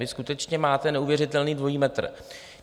Vy skutečně máte neuvěřitelný dvojí metr.